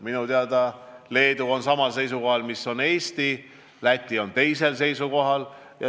Minu teada Leedu on samal seisukohal kui Eesti, Läti on teisel seisukohal.